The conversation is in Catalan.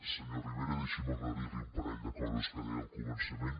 senyor rivera deixi’m aclarir li un parell de coses que deia al començament